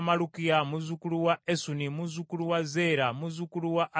muzzukulu wa Esuni, muzzukulu wa Zeera, muzzukulu wa Adaaya,